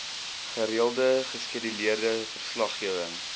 gereelde geskeduleerde verslaggewing